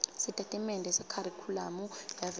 sitatimende sekharikhulamu yavelonkhe